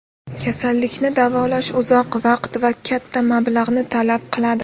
Kasallikni davolash uzoq vaqt va katta mablag‘ni talab qiladi.